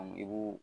i b'o